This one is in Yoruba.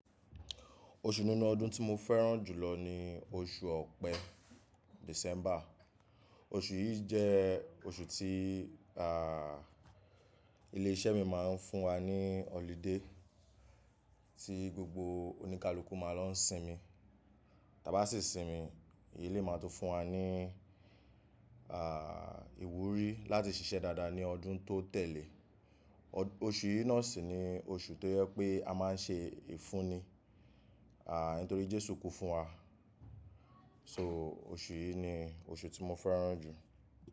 Oṣù nínú ọdún tí mo fẹ́ràn jùlọ ni oṣù ọ̀pẹ, December. Oṣù yìí jẹ́ oṣù tí à ilé iṣẹ́ mi máa ń fún wa ní holiday tí gbogbo oníkálukú máa lọ ń sinmi. Tábá sì sinmi, eléyìí máa tó fún wa ní à ìwúrí láti ṣiṣẹ́ dáadáa ní ọdún tó tẹ̀lé. Oṣù yìí náà sì ni oṣù tó jẹ pé a máa ń ṣe ìfunni. À nítorí Jésù kú fún wa. So oṣù yìí ni oṣù tí mo fẹ́ràn jù.